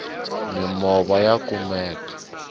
mimova ya kumeka